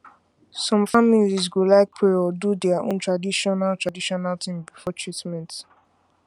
some families go like pray or do their own traditional traditional thing before treatment